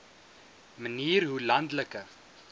manier hoe landelike